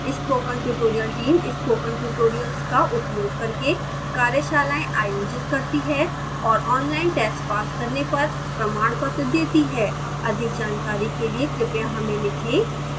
spoken tutorial team spoken tutorials का उपयोग करके कार्यशालाएँ आयोजित करती है और ऑनलाइन टेस्ट पास करने पर प्रमाणपत्र देती है अधिक जानकारी के लिए कृपया हमें लिखें